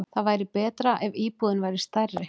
Það væri betra ef íbúðin væri stærri.